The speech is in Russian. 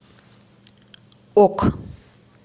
ок